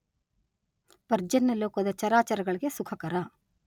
ಪರ್ಜನ್ಯ ಲೋಕದ ಚರಾಚರಗಳಿಗೆ ಸುಖಕರ.